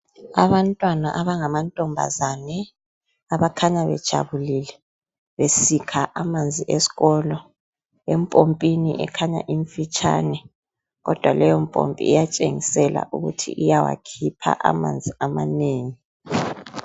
Abantwana abangamantombazane abakhanya bejabulile besikha amanzi esikolo empompini ekhanya imfitshane kodwa leyompompi iyatshengisela ukuthi iyawakhipha amanzi amanengi.